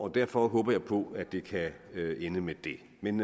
derfor håber jeg på at det kan ende med det men